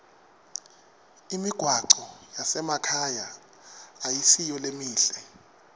imigwaco yasemakhaya ayisiyo lemihle